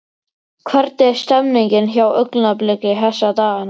Hvernig er stemningin hjá Augnabliki þessa dagana?